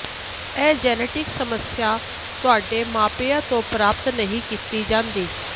ਇਹ ਜੈਨੇਟਿਕ ਸਮੱਸਿਆ ਤੁਹਾਡੇ ਮਾਪਿਆਂ ਤੋਂ ਪ੍ਰਾਪਤ ਨਹੀਂ ਕੀਤੀ ਜਾਂਦੀ